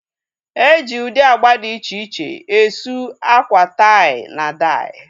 E ji ụdị agba dị iche iche e suu akwa tai na dai